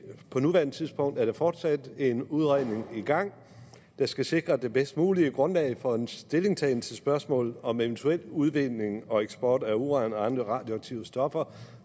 på nuværende tidspunkt er der fortsat en udredning i gang der skal sikre det bedst mulige grundlag for en stillingtagen til spørgsmålet om eventuel udvinding og eksport af uran og andre radioaktive stoffer